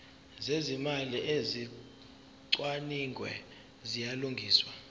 zezimali ezicwaningiwe ziyalungiswa